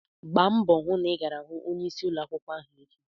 Gba mbọ hụ na ị gara hụ onyeisi ụlọ akwụkwọ ahụ echi!